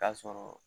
K'a sɔrɔ